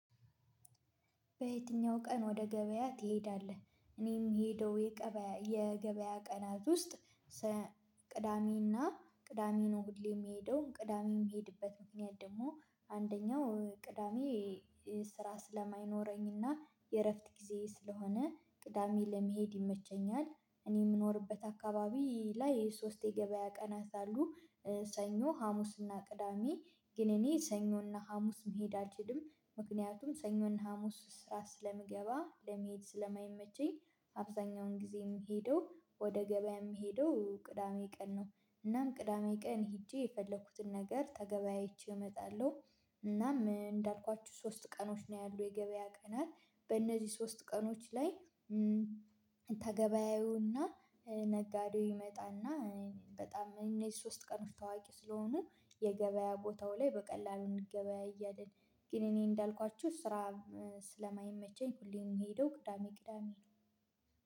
በየትኛው ቀን ወደ ገበያ ትሄዳለህ? እኔም የምሄደው የገበያ ቀናት ውስጥ ቅዳሜና ቅዳሜ ነው ሁሌ የሚሄደውን ቅዳሜም የሚሄድበት ምክንያት ደግሞ አንደኛው ቅዳሜ ስራ ስለማይኖረኝና የእረፍት ጊዜ ስለሆነ ቅዳሜ ለመሄድ ይመቸኛል። እኔ የምኖርበት አካባቢ ላይ ሶስት የገበያ ቀናት አሉ። ሰኞ፣ ሀሙስና ቅዳሜ ግን እኔ ሰኞና ሀሙስ መሄድ አልሄድም ምክንያቱም ሰኞና ሀሙስ ስራ ስለምገባ ለመሄድ ስለማይመቸኝ አብዛኛውን ጊዜ የምሄደው ወደ ገበያ የምሄደው ቅዳሜ ቀን ነው፤ እናም ቅዳሜ ቀን ሄጄ የፈለኩትን ነገር ተገበያይቼ እመጣለሁ፣ እናም እንዳልኳችሁ ሶስት ቀኖች ነው ያሉት የገበያ ቀናት በእነዚህ ሶስት ቀኖች ላይ ተገበያዩና ነጋዴው ይመጣና በጣም እነዚህ ሶስት ቀን ታዋቂ ስለሆኑ የገበያ ቦታው ላይ በቀላሉ እንገበያያለን ግን እኔ እንዳልኳችሁ ስራ ስለማይመቸኝ ሁሌም የምሄደው ቅዳሜ ቅዳሜ ነው።